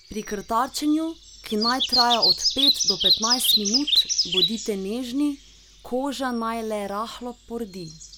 Pri krtačenju, ki naj traja od pet do petnajst minut, bodite nežni, koža naj le rahlo pordi.